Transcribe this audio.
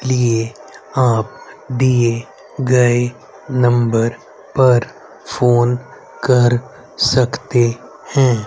लिए आप दिए गए नंबर पर फोन कर सकते हैं।